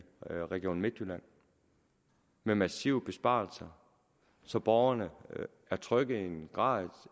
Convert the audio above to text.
region midtjylland med massive besparelser så borgerne er trykket i en grad